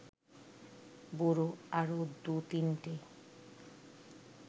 বুড়ো আরও দু’তিনটে